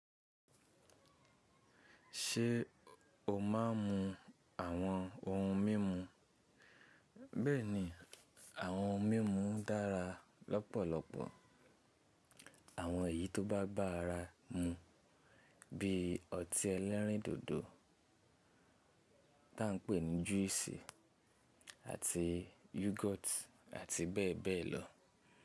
Ṣé o má a n mu àwọn ohun mímu? Bẹ́ẹ̀ni, àwọn ohun mímu dára lọ́pọ̀lọpọ̀. Àwọn èyí tó bá ba ara mu bí i ọtí ẹlẹ́rìndòdò tí à n pè ní juice àti yogurt àti bẹ́ẹ̀ bẹ́ẹ̀ lọ.